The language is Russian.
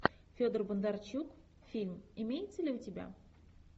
федор бондарчук фильм имеется ли у тебя